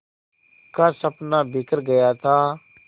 का सपना बिखर गया था